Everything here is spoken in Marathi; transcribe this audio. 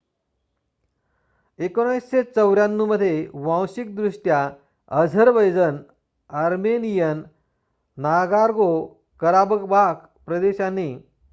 १९९४ मध्ये वांशिकदृष्ट्या अझरबैजन आर्मेनियन नागोर्नो-कराबाख प्रदेशाने अझेरिसविरुद्ध युद्ध छेडले